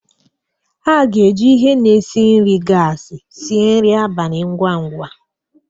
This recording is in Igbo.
A ga-eji ihe na-esi nri gasi sie nri abalị ngwa ngwa.